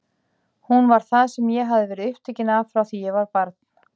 Hún var það sem ég hafði verið upptekin af frá því ég var barn.